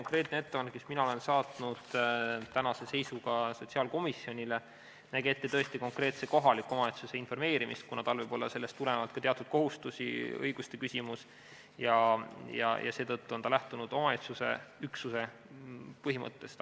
See ettepanek, mis mina olen saatnud tänase seisuga sotsiaalkomisjonile, näeb tõesti ette konkreetse kohaliku omavalitsuse informeerimist, kuna tal võib sellest tulenevalt tekkida ka teatud kohustusi, seal on ka õiguste küsimus, ja seetõttu on lähtutud omavalitsusüksuse põhimõttest.